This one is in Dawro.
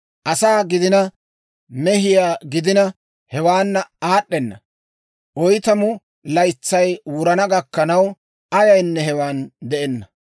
Asaa gidina mehiyaa gidina, hewaana aad'd'ena; oytamu laytsay wurana gakkanaw, ayaynne hewan de'enna.